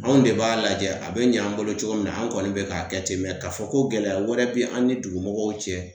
Anw de b'a lajɛ a be ɲ'an bolo cogo min na an kɔni be k'a kɛ ten mɛ k'a fɔ ko gɛlɛya wɛrɛ be an ni dugumɔgɔw cɛ